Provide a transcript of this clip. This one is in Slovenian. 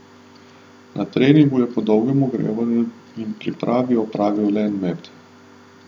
Na treningu je po dolgem ogrevanju in pripravi opravil le en met.